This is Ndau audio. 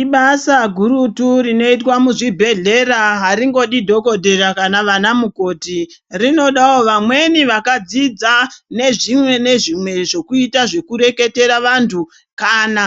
Ibasa guru rinoitwa muzvibhedhlera. Aringodi anadhokodheya kana anamukoti, rinodawo vanhu vakadzidza ngezvekureketera vanhu kana